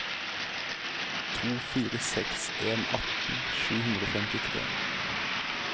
to fire seks en atten sju hundre og femtitre